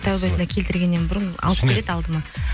тәубесіне келтіргеннен бұрын алып келеді алдыма